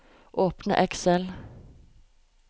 Åpne Excel